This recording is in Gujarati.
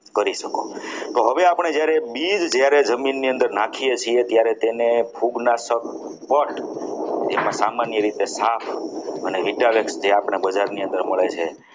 કરી શકો તો હવે આપણે જ્યારે બીજ જમીન ની અંદર નાખીએ છીએ ત્યારે તેને ફૂગનાશક પઠ પર તેમાં સામાન્ય રીતે થાપ અને vitamin જે આપણા બજારની અંદર મળે છે.